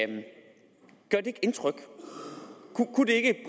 det ikke indtryk